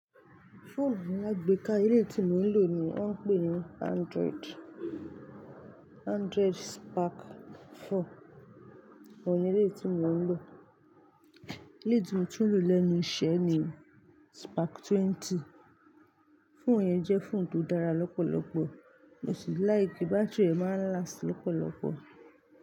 Phone mi alágbéka elẹ̀yí tí mò ń lò ni wọ́n ń pè ní Android, Android Spark 4. Òun ní elèyí tí mò ń lò. Èyí tí mo tún lò lẹ́nu iṣẹ́ ni Spark 20. Phone yẹn jẹ́ phone tó dára lọ́pọ̀lọ́pọ̀. Mo sì like. Bátìrì ẹ̀ máa ń last lọ́pọ̀lọ́pọ̀.